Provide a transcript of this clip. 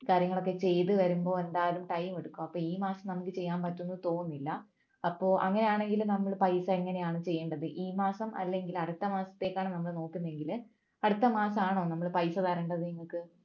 കാര്യങ്ങളൊക്കെ ചെയ്തു വരുമ്പോൾ എന്തായാലും time എടുക്കും അപ്പൊ ഈ മാസം നമ്മക്ക് ചെയ്യാൻ പറ്റുന്ന് തോന്നുന്നില്ല അപ്പൊ അങ്ങനെയാണെങ്കിൽ നമ്മള് പൈസ എങ്ങനെയാണ് ചെയ്യേണ്ടത് ഈ മാസം അല്ലെങ്കിൽ അടുത്ത മാസത്തേക്ക് ആണ് നമ്മൾ നോക്കുന്നതെങ്കിൽ അടുത്ത മാസം ആണോ നമ്മൾ പൈസ തരേണ്ടത് നിങ്ങക്ക്